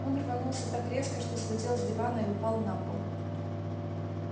он рванулся так резко что слетел с дивана и упал на пол